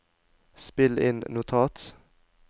spill inn notat